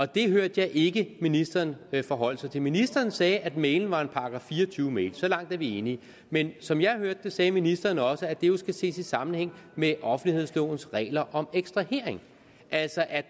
det hørte jeg ikke ministeren forholde sig til ministeren sagde at mailen var en § fire og tyve mail så langt er vi enige men som jeg hørte det sagde ministeren også at det jo skal ses i sammenhæng med offentlighedslovens regler om ekstrahering altså at